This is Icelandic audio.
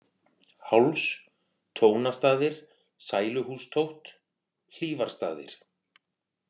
Háls, Tónastaðir, Sæluhústótt, Hlífarstaðir